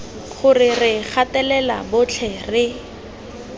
gore re gatelela botlhe re